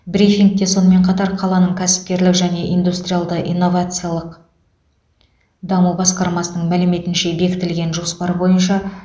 брифингте сонымен қатар қаланың кәсіпкерлік және индустриалды инновациялық даму басқармасының мәліметінше бекітілген жоспар бойынша